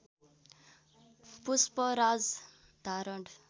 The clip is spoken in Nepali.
पुष्पराज धारण